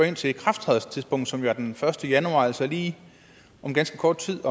ind til ikrafttrædelsestidspunktet som er den første januar altså lige om ganske kort tid